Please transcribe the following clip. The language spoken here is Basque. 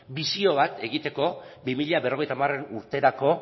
bisio bat egiteko bi mila berrogeita hamar urterako